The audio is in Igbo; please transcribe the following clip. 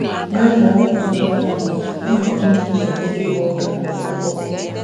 N’amaokwu ndị ahụ, ọ na - enye echiche nke ịbụ onye a kụrụ ọkpọ.